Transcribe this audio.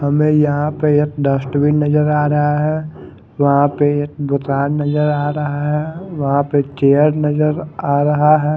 हमे यहा पे एक डस्टबीन नजर आ रहा है वहा पे एक दुकान नजर आ रहा रहा है वहा पे एक चेयर नजर आ रहा है।